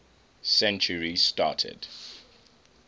century started